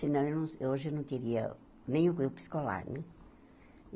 Senão eu, hoje, eu não teria nem o grupo escolar né.